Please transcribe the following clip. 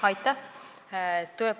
Aitäh!